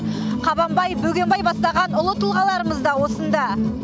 қабанбай бөгенбай бастаған ұлы тұлғаларымыз да осында